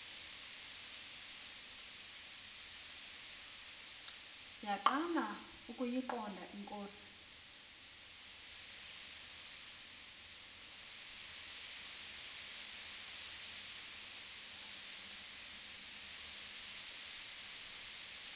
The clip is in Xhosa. yaqala ukuyiqonda ingozi